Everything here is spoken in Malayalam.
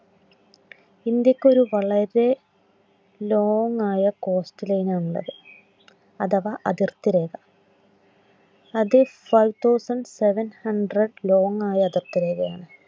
ഇന്ത്യക്കൊരു വളരെ long ആയ coastline ആണുള്ളത്. അഥവാ അതിർത്തി രേഖ. അത് five thousand seven hundred long ആയ അതിർത്തി രേഖയാണ്